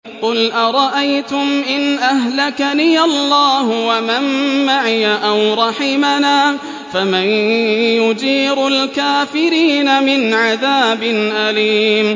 قُلْ أَرَأَيْتُمْ إِنْ أَهْلَكَنِيَ اللَّهُ وَمَن مَّعِيَ أَوْ رَحِمَنَا فَمَن يُجِيرُ الْكَافِرِينَ مِنْ عَذَابٍ أَلِيمٍ